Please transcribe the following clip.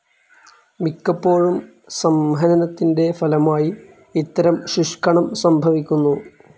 മിക്കപ്പോഴും സംഹനനത്തിൻ്റെ ഫലമായി ഇത്തരം ശുഷ്ക്കണം സംഭവിക്കുന്നു.